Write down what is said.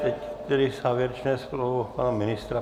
Teď tedy závěrečné slovo pana ministra.